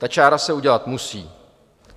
Ta čára se udělat musí.